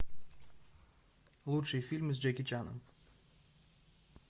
лучшие фильмы с джеки чаном